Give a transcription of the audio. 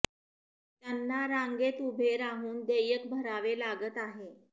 त्यांना रांगेत उभे राहून देयक भरावे लागत आहे